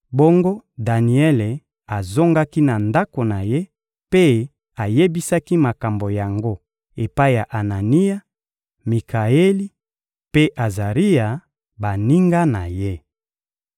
bongo Daniele azongaki na ndako na ye mpe ayebisaki makambo yango epai ya Anania, Mikaeli mpe Azaria, baninga na ye.